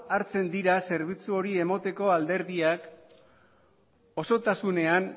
hartzen dira zerbitzu hori emoteko alderdiak osotasunean